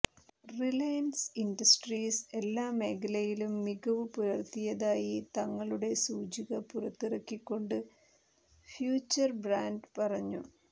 Reliance Industries എല്ലാ മേലയിലും മികവ് പുലർത്തിയതായി തങ്ങളുടെ സൂചിക പുറത്തിറക്കിക്കൊണ്ട് ഫ്യൂച്ചർബ്രാൻഡ് പറഞ്ഞു